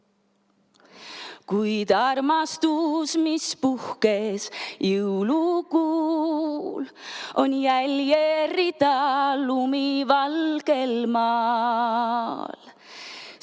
Kuid armastus, mis puhkes jõulukuul, on jäljerida lumivalgel maal.